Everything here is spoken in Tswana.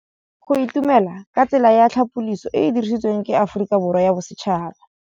Go itumela ke tsela ya tlhapolisô e e dirisitsweng ke Aforika Borwa ya Bosetšhaba.